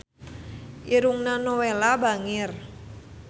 Irungna Nowela bangir